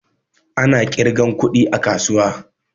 Ana ƙirgan kuɗi a kasuwa